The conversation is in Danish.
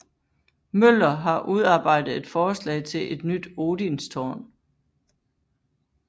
Møller har udarbejdet et forslag til et nyt Odinstårn